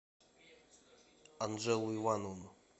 анжеллу ивановну